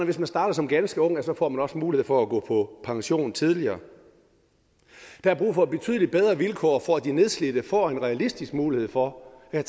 hvis man starter som ganske ung får man også mulighed for at gå på pension tidligere der er brug for betydelig bedre vilkår for at de nedslidte får en realistisk mulighed for at